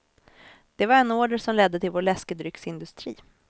Det var en order som ledde till vår läskedrycksindustri.